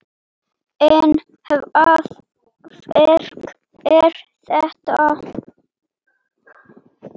En hvaða verk er þetta?